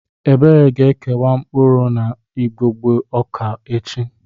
Ebere ga-ekewa mkpụrụ na igbogbo ọka echi.